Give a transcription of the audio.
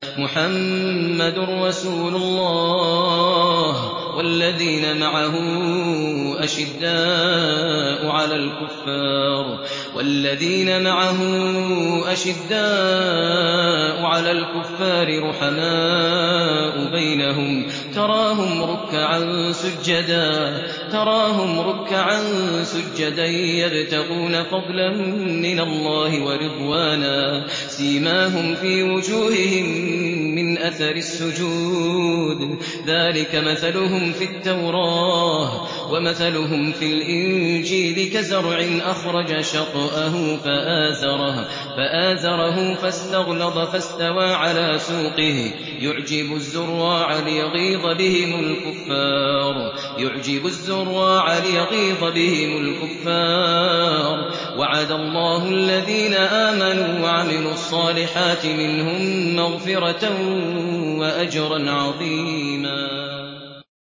مُّحَمَّدٌ رَّسُولُ اللَّهِ ۚ وَالَّذِينَ مَعَهُ أَشِدَّاءُ عَلَى الْكُفَّارِ رُحَمَاءُ بَيْنَهُمْ ۖ تَرَاهُمْ رُكَّعًا سُجَّدًا يَبْتَغُونَ فَضْلًا مِّنَ اللَّهِ وَرِضْوَانًا ۖ سِيمَاهُمْ فِي وُجُوهِهِم مِّنْ أَثَرِ السُّجُودِ ۚ ذَٰلِكَ مَثَلُهُمْ فِي التَّوْرَاةِ ۚ وَمَثَلُهُمْ فِي الْإِنجِيلِ كَزَرْعٍ أَخْرَجَ شَطْأَهُ فَآزَرَهُ فَاسْتَغْلَظَ فَاسْتَوَىٰ عَلَىٰ سُوقِهِ يُعْجِبُ الزُّرَّاعَ لِيَغِيظَ بِهِمُ الْكُفَّارَ ۗ وَعَدَ اللَّهُ الَّذِينَ آمَنُوا وَعَمِلُوا الصَّالِحَاتِ مِنْهُم مَّغْفِرَةً وَأَجْرًا عَظِيمًا